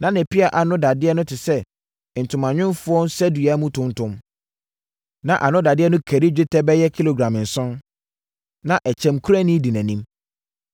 Na ne pea ano dadeɛ no te sɛ ntomanwomfoɔ nsadua mu tonton, na ano dadeɛ no kari dwetɛ bɛyɛ kilogram nson. Na ɛkyɛmkurani di nʼanim.